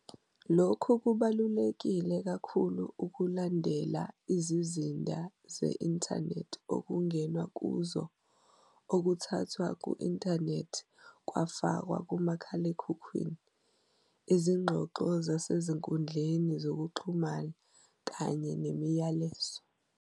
"Lokhu kubalulekile kakhulu ukulandelela izizinda ze-inthanethi okungenwe kuzona, okuthathwe ku-inthanethi kwafakwa kumakhalekhukhwini, izingxoxo zasezinkundleni zokuxhumana kanye nemiyalezo."